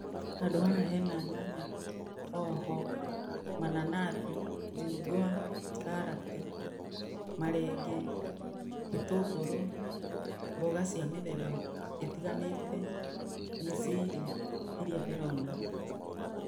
Handũ haha hena nyanya, hoho, mananathi, njungwa, karati, marenge, gĩtũngũrũ, mboga cia mĩthemba ĩtiganĩte, mĩciiri ĩrĩa ndĩrona.